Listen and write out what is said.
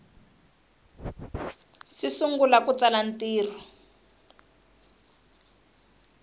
si sungula ku tsala ntirho